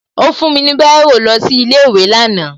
Ó fún mi ní Báírò lọ sí ilé ìwé lánàá